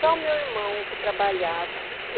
Só o meu irmão que trabalhava.